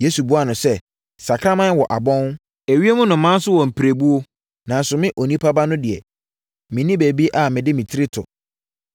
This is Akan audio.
Yesu buaa no sɛ, “Sakraman wɔ abɔn, ewiem nnomaa nso wɔ mpirebuo, nanso me, Onipa Ba no deɛ, menni baabi a mede me tiri to!”